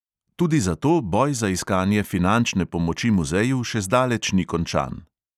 Tudi zato boj za iskanje finančne pomoči muzeju še zdaleč ni končan.